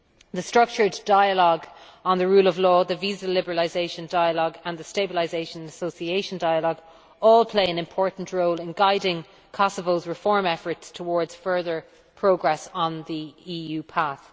The structured dialogue on the rule of law, the visa liberalisation dialogue and the stabilisation and association dialogue all play an important role in guiding Kosovo's reform efforts towards further progress on the EU path.